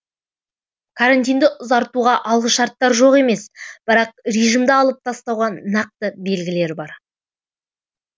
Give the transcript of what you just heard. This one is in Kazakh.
карантинді ұзартуға алғышарттар жоқ емес бірақ режимді алып тастауға нақты белгілер бар